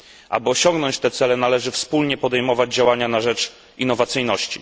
Aby osiągnąć te cele należy wspólnie podejmować działania na rzecz innowacyjności.